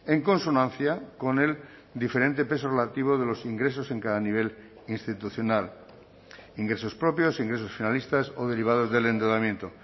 en consonancia con el diferente peso relativo de los ingresos en cada nivel institucional ingresos propios ingresos finalistas o derivados del endeudamiento